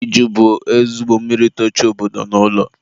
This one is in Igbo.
iju bụ nnukwu mmiri itochi obodo na ụlọ.